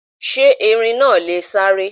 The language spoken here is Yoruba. Sé Erin náa lè sáré?